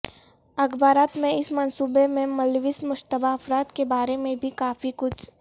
اخبارات میں اس منصوبے میں ملوث مشتبہ افراد کے بارے میں بھی کافی کچھ